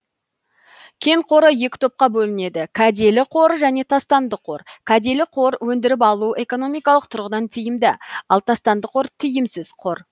кен қоры екі топқа бөлінеді кәделі қор және тастанды қор кәделі қор өндіріп алуы экономикалық тұрғыдан тиімді ал тастанды тиімсіз қор